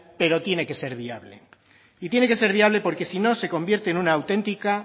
pero tiene que ser viable y tiene que ser viable porque si no se convierte en una auténtica